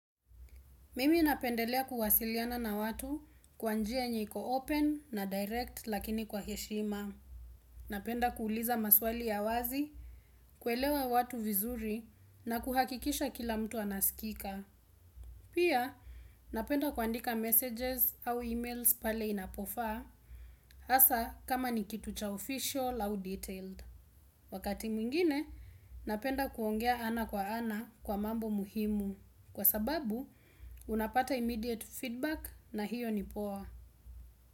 Mimi napendelea kuwasiliana na watu kwa njia yenye iko open na direct lakini kwa heshima. Napenda kuuliza maswali ya wazi, kuelewa watu vizuri na kuhakikisha kila mtu anasikika. Pia napenda kuandika messages au emails pale inapofaa hasa kama ni kitu cha official au detailed. Wakati mwingine, napenda kuongea ana kwa ana kwa mambo muhimu. Kwa sababu, unapata immediate feedback na hiyo ni poa.